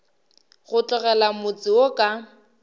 go tlogela motse wo ka